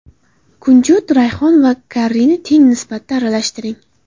Kunjut, rayhon va karrini teng nisbatda aralashtiring.